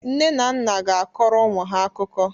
Nne na nna ga-akọrọ ụmụ ha akụkọ.